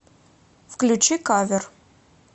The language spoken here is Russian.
включи кавер